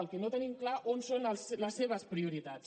el que no tenim clar on són les seves prioritats